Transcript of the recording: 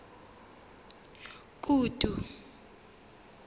kutu